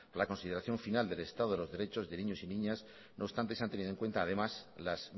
la consideración final del estado de los derechos de niños y niñas no obstante se han tenido en cuenta además las